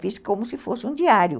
Fiz como se fosse um diário.